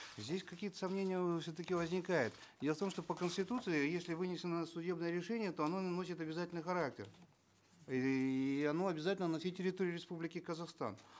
здесь какие то сомнения э все таки возникают и о том что по конституции если вынесено судебное решение то оно носит обязательный характер и оно обязательно на всей территории республики казахстан